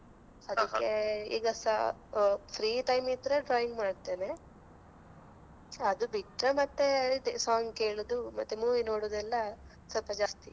ಈಗಸ free time ಇದ್ರೆ drawing ಮಾಡ್ತೇನೆ ಅದು ಬಿಟ್ರೆ ಮತ್ತೆ ಇದೇ song ಕೇಳುದು, ಮತ್ತೆ movie ನೋಡುವುದೆಲ್ಲ ಸ್ವಲ್ಪ ಜಾಸ್ತಿ.